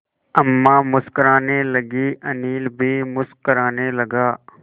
अम्मा मुस्कराने लगीं अनिल भी मुस्कराने लगा